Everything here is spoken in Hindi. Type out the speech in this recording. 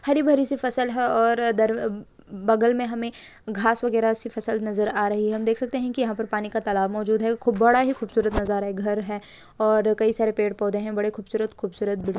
हरी-भरी सी फसल है और दरबे बगल में हमें घास वगैरा सी फसल नजर आ रही है हम देख सकते हैं यहां पर पानी का तालाब मौजूद है खूब बड़ा ही खूबसूरत नजारा है घर है और कई सारे पेड़-पौधे बड़े खूबसूरत-खूबसूरत ----